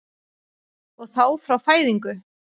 Og þá frá fæðingu?